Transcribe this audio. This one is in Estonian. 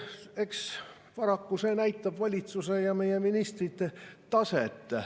Eks paraku see näitab valitsuse ja meie ministrite taset.